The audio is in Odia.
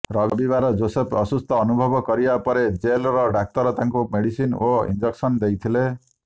ରବିବାର ଜୋସେଫ ଅସୁସ୍ଥ ଅନୁଭବ କରିବା ପରେ ଜେଲ୍ର ଡାକ୍ତର ତାଙ୍କୁ ମେଡିସିନ ଓ ଇଞ୍ଜେକସନ ଦେଇଥିଲେ